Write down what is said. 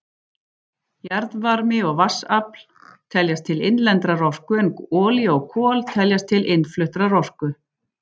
Jarðvarmi og vatnsafl teljast til innlendrar orku en olía og kol teljast til innfluttrar orku.